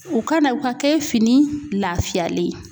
O ka na o ka kɛ fini lafiyalen ye.